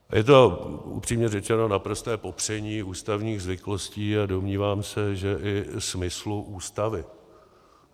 Je to upřímně řečeno naprosté popření ústavních zvyklostí a domnívám se, že i smyslu Ústavy.